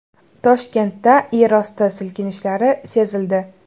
Toshkentda yerosti silkinishlari sezildi.